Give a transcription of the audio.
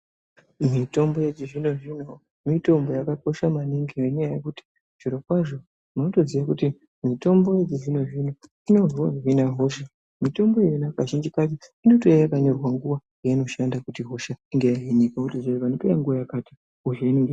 Mitombo yechizvino-zvino mitombo yakakosha maningi nenyaya yekuti zvirokwazvo unotoziye kuti mitombo yechizvino-zvino, inohina hosha. Mitombo iyona kazhinji kacho inotouya yakanyorwa nguva yainoshanda kuti hosha inonga yahinika. Votoziya kuti panopera nguva yakati hosha inenge yahinika..